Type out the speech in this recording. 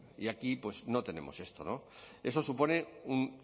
y aquí pues no tenemos esto eso supone un